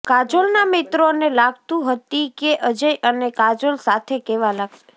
કાજોલના મિત્રોને લાગતું હતી કે અજય અને કાજોલ સાથે કેવા લાગશે